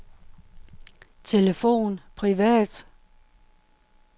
telefon privat